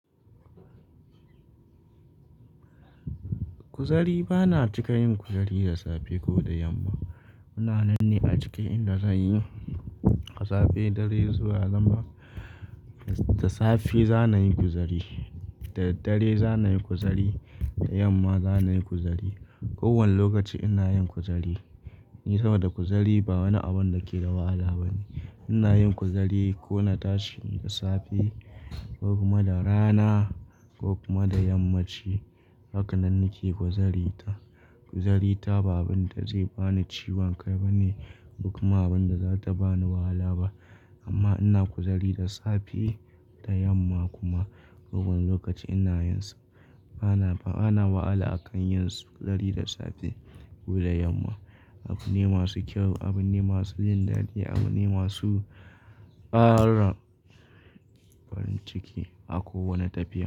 Kuzari bana cika yin kuzari da safe ko da yamma. Ina nan ne a ciki inda zan yi safe, dare zuwa zama. Da safe za na yi kuzari, da dare za na yi kuzari, da yamma za na yi kuzari. Ko wane lokaci ina yin kuzari. Saboda kuzari ba wani abun da ke da wahala ba ne. Ina yin kuzari ko na tashi da safe ko kuma da rana ko kuma da yammaci. Haka nan nake kuzari. Kuzari ta ba abin da zai bani ciwon kai ba ne ko kuma abin da za ta bani wahala ba. Amma ina kuzari da safe, da yamma kuma. Ko wane lokaci ina yin sa. Bana, bana wahala akan yin kuzari da safe ko da yamma. Abu ne masu kyau, abun ne masu jin dadi, abun ne masu ƙara ƙwan ciki a kowane tafiya.